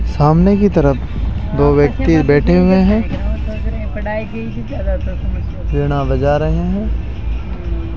सामने की तरफ दो व्यक्ति बैठे हुए हैं वीणा बजा रहे हैं।